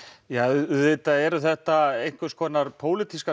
auðvitað eru þetta einhvers konar